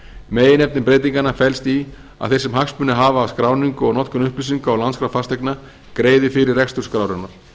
meginefni breytinganna felst í að þeir sem hagsmuni hafa af skráningu og notkun upplýsinga úr landskrá fasteigna greiði fyrir rekstur skrárinnar